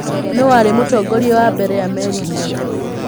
Nũũ warĩ Mũtongoria wa mbere wa Amerika?